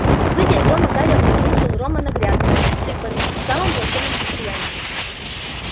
выйдя из дома гарри обнаружил рона на грядке с тыквами в самом плачевном состоянии